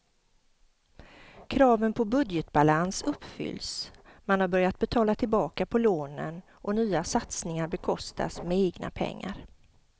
Kraven på budgetbalans uppfylls, man har börjat betala tillbaka på lånen och nya satsningar bekostas med egna pengar.